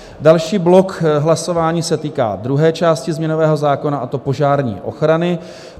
Další blok hlasování se týká druhé části změnového zákona, a to požární ochrany.